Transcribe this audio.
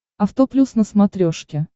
авто плюс на смотрешке